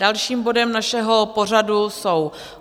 Dalším bodem našeho pořadu jsou